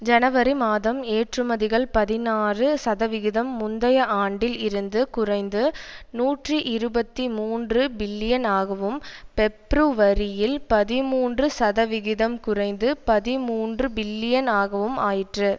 ஜனவரி மாதம் ஏற்றுமதிகள் பதினாறு சதவிகிதம் முந்தைய ஆண்டில் இருந்து குறைந்து நூற்றி இருபத்தி மூன்று பில்லியன் ஆகவும் பெப்ருவரியில் பதிமூன்று சதவிகிதம் குறைந்து பதிமூன்று பில்லியன் ஆகவும் ஆயிற்று